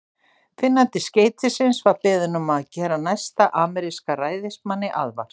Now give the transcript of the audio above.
Finnandi skeytisins var beðinn um að gera næsta ameríska ræðismanni aðvart.